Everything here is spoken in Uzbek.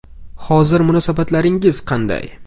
Hozir munosabatlaringiz qanday?